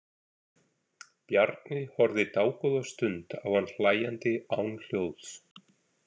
Bjarni horfði dágóða stund á hann hlæjandi án hljóðs.